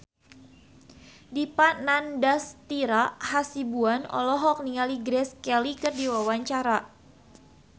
Dipa Nandastyra Hasibuan olohok ningali Grace Kelly keur diwawancara